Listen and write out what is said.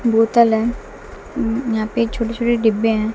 बोतल है उम्म यहां पे छोटे छोटे डिब्बे हैं।